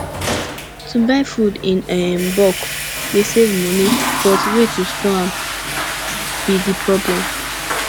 to buy food in um bulk dey save money but way to store am be di problem